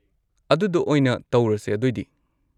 ꯑꯗꯨꯗꯣ ꯑꯣꯏꯅ ꯇꯧꯔꯁꯦ ꯑꯗꯣꯏꯗꯤ꯫